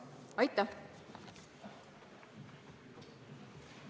Aitäh!